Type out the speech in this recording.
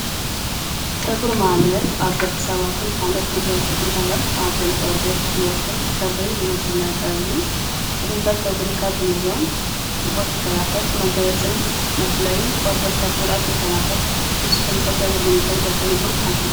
ፀጉሪ ማለት ኣብ ደቂ ሰባትን ኣብ ካልኦትነገራትን እንስሳታሰትን ኣብ ልዕሊ ቆርበት ዝወቅል ክሪ ዝመስል ነገር እዩ፡፡ ጥቅመታት ፀጉሪታት ካብ እንብሎም ሙቀት ይከላለክል መጋየፅን መፍለይን ቆርበት ፡፡ ጉድኣት ይከላከል፡፡ ንስኩም ከ ንምንታይ ይጠቅም ኢልኩም ትሓስቡ?